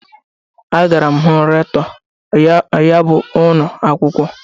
Agara m hụ Rektọ ya bụ ụnọakwụkwọ.